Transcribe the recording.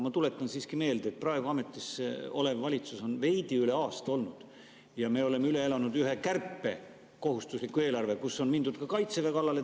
Ma tuletan siiski meelde, et praegu ametis olev valitsus on veidi üle aasta ametis olnud ja me oleme üle elanud ühe kärpe, kohustusliku eelarve, kus on mindud ka Kaitseväe kallale.